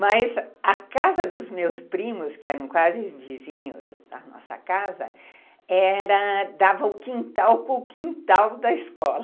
Mas a casa dos meus primos, que eram quase vizinhos da nossa casa, dava o quintal com o quintal da escola.